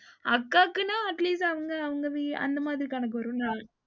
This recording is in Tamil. அக்காகுன்னா atleast அவங்க அவங்க வீ அந்த மாதிரி கணக்கு வரும்ல.